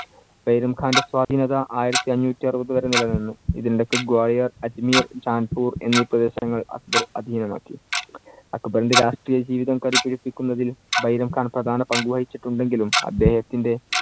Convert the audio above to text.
ബൈരം ഖാന്‍റെ സ്വാധീനത ആയിരത്തിഅഞ്ഞൂറ്റി അറുപതു വരെ നിലനിന്നു. ഇതിനിടയ്ക്ക് ഗ്വാളിയർ, അജ്മീർ, ജാൻപൂർ എന്നീ പ്രദേശങ്ങൾ അക്ബർ അധീനമാക്കി. അക്ബറിന്‍റെ രാഷ്ട്രീയജീവിതം കരുത്തുയർത്തിക്കുന്നതില്‍ ബൈരം ഖാന്‍ പ്രധാന പങ്കു വഹിച്ചിട്ടുണ്ടെങ്കിലും അദ്ദേഹത്തിന്‍റെ